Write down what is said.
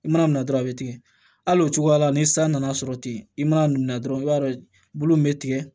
I mana minɛ dɔrɔn a bɛ tigɛ hali o cogoya la ni san nana sɔrɔ ten i mana minɛ dɔrɔn i b'a dɔn bulu min bɛ tigɛ